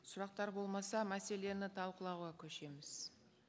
сұрақтар болмаса мәселені талқылауға көшеміз